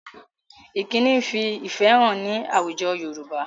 Ìkíni ń fi ìfẹ hàn ní àwùjọ Yorùbá